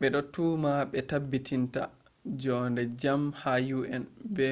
bedo tuma be tabbitinta jo’ende jam ha un be